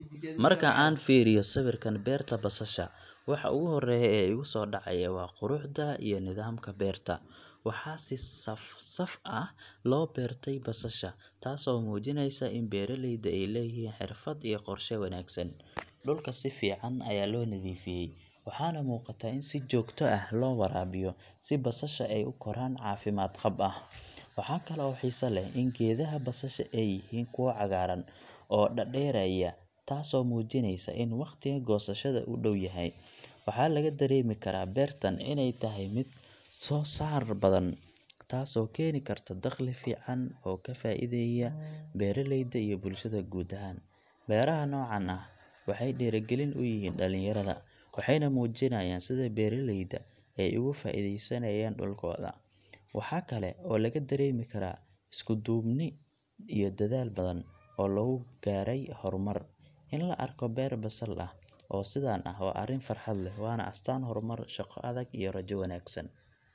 Marka aan fiiriyo sawirkan beerta basasha, waxa ugu horreeya ee igu soo dhacaya waa quruxda iyo nidaamka beerta. Waxaa si saf-saf ah loo beertay basasha, taasoo muujinaysa in beeraleyda ay leeyihiin xirfad iyo qorshe wanaagsan. Dhulka si fiican ayaa loo nadiifiyay, waxaana muuqata in si joogto ah loo waraabiyo si basasha ay u koraan caafimaad qab ah. Waxa kale oo xiiso leh in geedaha basasha ay yihiin kuwo cagaaran oo dhaadheeraya, taasoo muujinaysa in waqtiga goosashada uu dhow yahay. Waxaa laga dareemi karaa beertan inay tahay mid soo saar badan, taasoo keeni karta dakhli fiican oo ka faa’iideeya beeraleyda iyo bulshada guud ahaan. Beeraha noocan ah waxay dhiirrigelin u yihiin dhalinyarada, waxayna muujinayaan sida beeraleyda ay uga faa’iideysanayaan dhulkooda. Waxa kale oo laga dareemi karaa isku duubni iyo dadaal badan oo lagu gaadhay horumar. In la arko beer basal ah oo sidan ah waa arrin farxad leh, waana astaanta horumar, shaqo adag, iyo rajo wanaagsan.